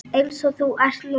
Eins og þú ert núna.